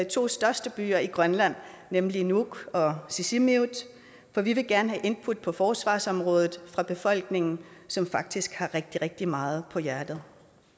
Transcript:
to største byer i grønland nemlig nuuk og sisimiut for vi vil gerne have input på forsvarsområdet fra befolkningen som faktisk har rigtig rigtig meget på hjerte